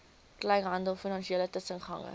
kleinhandel finansiële tussengangers